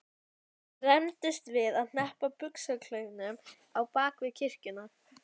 Þeir rembdust við að hneppa buxnaklaufunum á bak við kirkjuna.